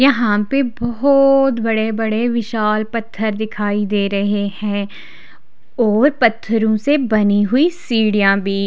यहाँ पर बहुत बड़े-बड़े विशाल पत्थर दिखाई दे रहे हैं और पत्थरों से बनी हुई सीढ़ियां भी--